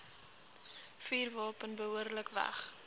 vuurwapen behoorlik weg